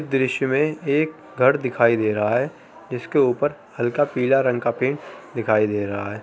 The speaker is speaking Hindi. इस दृश्य में एक घर दिखाइ दे रहा है। इसके ऊपर हल्का पिला रंग का पिंट दिखाइ दे रहा है।